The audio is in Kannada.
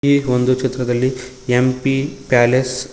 ಈ ಒಂದು ಚಿತ್ರದಲ್ಲಿ ಎಂ_ಪಿ ಪ್ಯಾಲೇಸ್ --